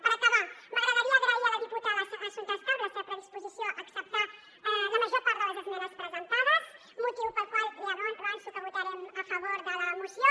per acabar m’agradaria agrair a la diputada assumpta escarp la seva predisposició a acceptar la major part de les esmenes presentades motiu pel qual ja avanço que votarem a favor de la moció